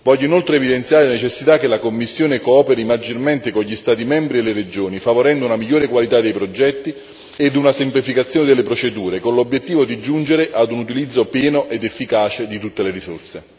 Voglio inoltre evidenziare la necessità che la Commissione cooperi maggiormente con gli Stati membri e le regioni, favorendo una migliore qualità dei progetti e una semplificazione delle procedure, con l'obiettivo di giungere ad un utilizzo pieno ed efficace di tutte le risorse.